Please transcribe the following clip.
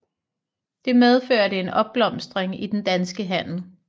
Det medførte en opblomstring i den danske handel